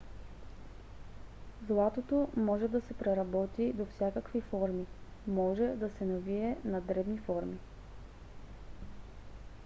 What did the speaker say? златото може да се преработи до всякакви форми. може да се навие на дребни форми